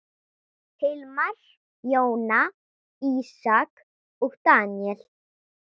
Hilmar, Jóna, Ísak og Daníel.